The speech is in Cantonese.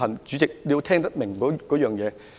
主席，你要聽懂我的內容。